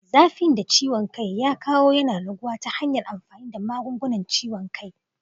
Zafin da ciwon kai ya kawo yana raguwa ta hanyar amfani da magungunan ciwon kai.